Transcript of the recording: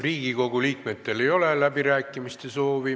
Riigikogu liikmetel ei ole läbirääkimiste soovi.